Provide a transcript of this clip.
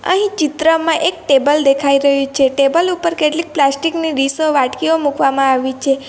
અહીં ચિત્રમાં એક ટેબલ દેખાય રહ્યું છે ટેબલ ઉપર કેટલીક પ્લાસ્ટિકની ડીશો વાટકીઓ મૂકવામાં આવી છે.